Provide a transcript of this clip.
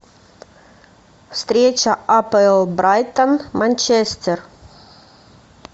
встреча апл брайтон манчестер